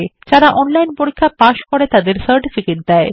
যারা অনলাইন পরীক্ষা পাস করে তাদের সার্টিফিকেট দেয়